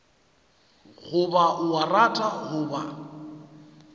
goba o a rata goba